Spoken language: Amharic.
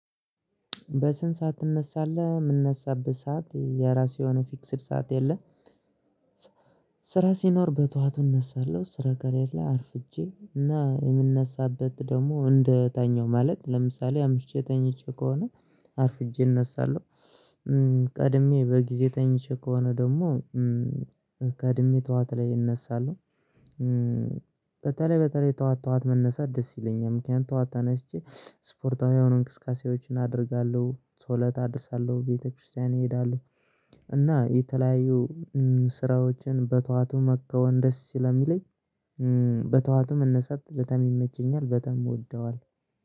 በስንት ሰዓት ትነሳለህ? የምነሳበት ሰዓት የራሱ የሆነ ፊክስድ ሰዓት የለም። ሲኖር በጧዋቱ እነሳለሁ ስራ ከሌላ አርፍጄ እና የምነሳበት ደግሞ እንደተኛው ማለት ለምሳሌ አምሽቼ ተኝቼ ከሆነ አርፍጄ እነሳለሁ። ቀድሜ በጊዜ ተኝቼ ከሆነ ደግሞ ቀድሜ ጠዋት ላይ እነሳለሁ በተለይ ጠዋት ጠዋት መነሳት ደስ ይለኛል። ምክንያቱም ተዋት ተነሽቼ ስፖርታዊ የሆኑ እንቅስቃሴዎችን አደርጋለሁ ሰው ጾለት አደርሳለሁ ቤተክርስቲያን እሄዳለሁ። እና የተለያዩ ስራዎችን በተዋቱ መከወን ደስ ስለሚለኝ። በጠዋቱ መነሳት በጣም ይመቸኛል በጣም እወደዋለው